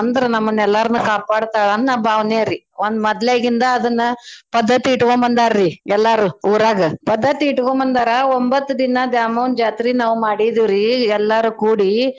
ಅಂದ್ರ ನಮ್ನನೆಲ್ಲಾರ್ನು ಕಾಪಾಡ್ತಾಳ ಅನ್ನೋ ಭಾವ್ನೇರೀ. ಒಂದ್ ಮದ್ಲೇಗಿಂದ ಅದ್ನ ಪದ್ದತಿ ಇಟ್ಗೊಂಬಂದಾರಿ ಎಲ್ಲಾರೂ ಊರಾಗ. ಪದ್ದತಿ ಇಟ್ಗೊಂಬಂದಾರ ಒಂಬತ್ತ್ ದಿನಾ ದ್ಯಾಮವ್ವನ್ ಜಾತ್ರೀ ನಾವ್ ಮಾಡಿದ್ವಿರೀ ಎಲ್ಲಾರು ಕೂಡಿ.